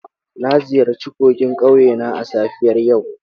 Na ziyarci kogin ƙauye na a safiyar yau.